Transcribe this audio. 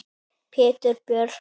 Pétur Björn.